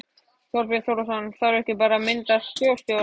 Þorbjörn Þórðarson: Þarf ekki bara að mynda þjóðstjórn?